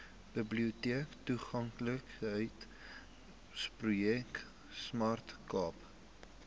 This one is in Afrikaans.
biblioteektoeganklikheidsprojek smart cape